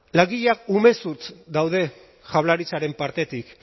langileak umezurtz daude jaurlaritzaren partetik